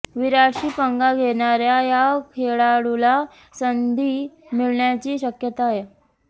विराटशी पंगा घेणाऱ्या या खेळाडूला संधी मिळण्याची शक्यता